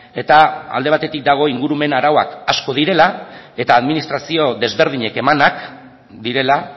eta alde batetik dago ingurumen arauak asko direla eta administrazio desberdinek emanak direla